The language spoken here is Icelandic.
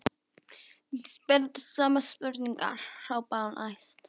Ég spyr þig sömu spurningar, hrópar hún æst.